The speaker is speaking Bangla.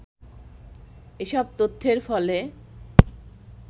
এসব তথ্যের ফলে